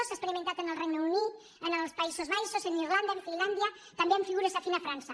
s’ha experimentat al regne unit als països baixos a irlanda a finlàndia també amb figures afins a frança